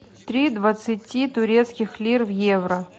три двадцати турецких лир в евро